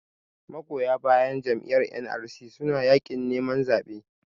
magoya bayan Jam'iyyar NRC suna yakin neman zaɓe